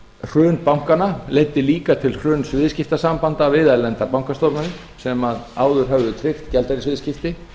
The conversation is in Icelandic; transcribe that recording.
hrun bankanna leiddi líka til hruns viðskiptasambanda við erlendar bankastofnanir sem áður höfðu tryggt gjaldeyrisviðskipti